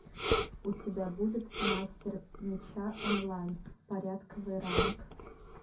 у тебя будет мастер меча онлайн порядковый ранг